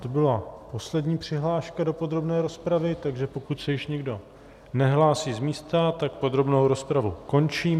To byla poslední přihláška do podrobné rozpravy, takže pokud se již nikdo nehlásí z místa, tak podrobnou rozpravu končím.